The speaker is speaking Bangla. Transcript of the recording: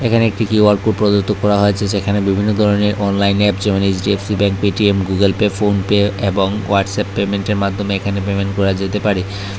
এখানে একটি কিউ আর কোড প্রদত্ত করা হয়েছে যেখানে বিভিন্ন ধরনের অনলাইন অ্যাপ যেমন HDFC bank Paytm Google Pay PhonePe এবং ওহাটসঅ্যাপ পেমেন্টের মাধ্যমে এখানে পেমেন্ট করা যেতে পারে।